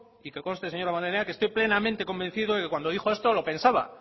y que conste señor damborenea que estoy plenamente convencido de que cuando dijo esto lo pensaba